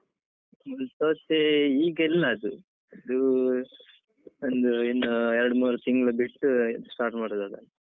ಮುಳ್ಳುಸೌತೆ ಈಗ ಇಲ್ಲ ಅದು, ಅದು ಒಂದು ಇನ್ನು ಎರಡ್ ಮೂರು ತಿಂಗ್ಳು ಬಿಟ್ಟು start ಮಾಡುದು ಅದನ್ನು.